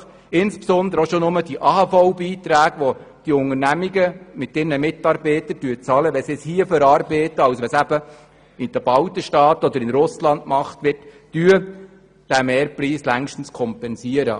Als Beispiel nenne ich nur die AHVBeiträge, die die Unternehmungen mit ihren Mitarbeitern zahlen, wenn das Holz hier verarbeitet wird, anstatt in Russ land oder den baltischen Staaten.